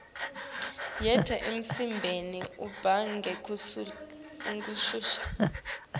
yenta imisebeni ihambe ngekushesha